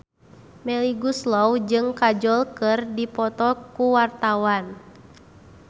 Melly Goeslaw jeung Kajol keur dipoto ku wartawan